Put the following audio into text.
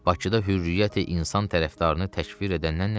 Bakıda hürriyyəti insan tərəfdarını təkfir edəndən nə deyim?